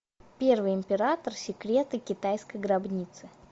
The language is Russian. первый император секреты китайской гробницы